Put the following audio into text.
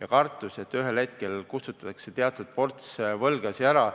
ja kartus, et ühel hetkel kustutatakse teatud ports võlgasid ära.